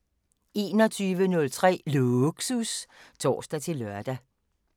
21:03: Lågsus (tor-lør)